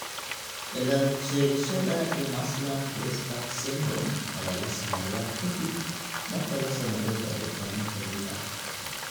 Cilad-sheegashada Imerslund Grasbeck syndrome (IGS) ayaa la sameeyaa ka dib marka la sameeyo baaritaanno xiriir ah.